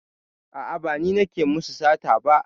A'a, ba ni nake musu sata ba.